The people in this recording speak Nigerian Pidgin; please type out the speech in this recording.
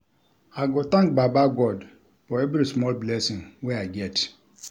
I go thank baba God for every small blessing wey I get.